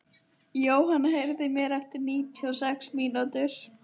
Jóanna, heyrðu í mér eftir níutíu og sex mínútur.